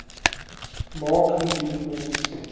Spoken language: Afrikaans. maak indien ons